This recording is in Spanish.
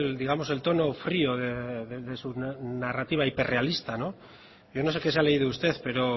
digamos el tono frío de su narrativa hiperrealista yo no sé que se ha leído usted pero